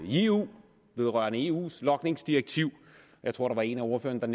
i eu vedrørende eus logningsdirektiv jeg tror der var en af ordførerne der